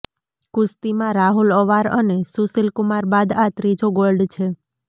કુસ્તીમાં રાહુલ અવાર અને સુશીલકુમાર બાદ આ ત્રીજો ગોલ્ડ છે